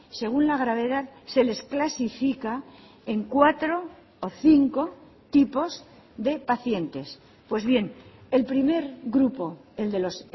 según la gravedad se les clasifica en cuatro o cinco tipos de pacientes pues bien el primer grupo el de los